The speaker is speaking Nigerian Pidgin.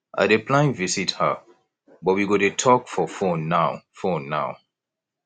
i dey plan visit her but we go dey talk for fone now fone now